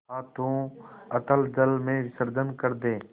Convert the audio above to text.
हाथों अतल जल में विसर्जन कर दे